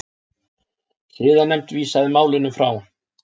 Siðanefnd vísaði málinu frá